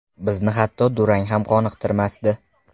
Bizni hatto durang ham qoniqtirmasdi.